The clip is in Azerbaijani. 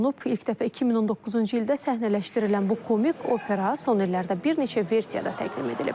İlk dəfə 2019-cu ildə səhnələşdirilən bu komik opera son illərdə bir neçə versiyada təqdim edilib.